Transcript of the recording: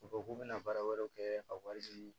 U bɔ k'u bɛna baara wɛrɛw kɛ ka wari di